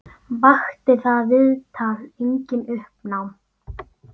Vakti það viðtal einnig uppnám.